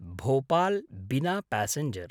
भोपाल्–बिना passenger